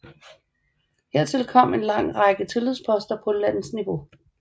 Hertil kom en lang række tillidsposter på landsniveau